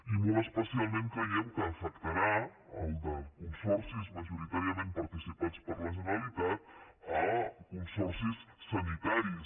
i molt especialment creiem que afectarà en el cas dels consorcis majoritàriament participats per la generalitat consorcis sanitaris